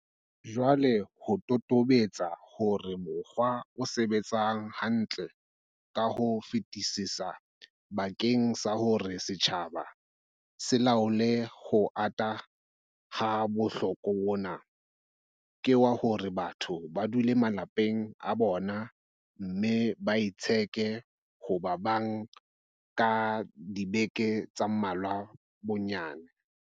Jwale ho totobetse hore mokgwa o sebetsang hantle ka ho fetisisa bakeng sa hore setjhaba se laole ho ata ha bohloko bona, ke wa hore batho ba dule malapeng a bona mme ba itsheke ho ba bang ka dibeke tse mmalwa bonnyane.